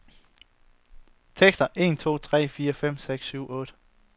Tester en to tre fire fem seks syv otte.